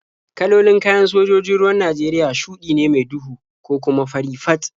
Kalolin kayan sojojin ruwan Najeriya shuɗi ne mai duhu ko kuma fari fat.